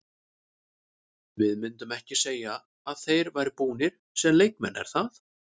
Við myndum ekki segja að þeir væru búnir sem leikmenn er það?